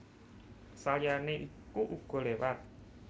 Saliyane iku uga lewat